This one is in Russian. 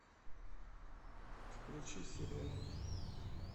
включи серена